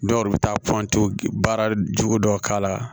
Dɔw yɛrɛ bɛ taa baara jugu dɔw k'a la